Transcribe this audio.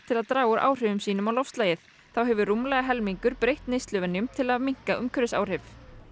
til að draga úr áhrifum sínum á loftslagið þá hefur rúmlega helmingur breytt neysluvenjum til að minnka umhverfisáhrif